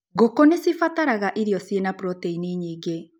Ngũkũ nĩcibataraga irio ciina proteini nyingĩ.